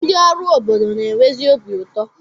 Ndị ọrụ obodo na-enwezi obi ụtọ.